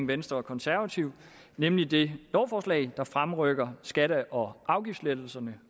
venstre og konservative nemlig det lovforslag der fremrykker skatte og afgiftslettelserne